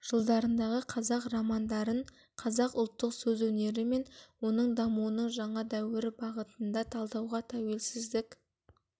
жылдарындағы қазақ романдарын қазақ ұлттық сөз өнері мен оның дамуының жаңа дәуірі бағытында талдауға тәуелсіздік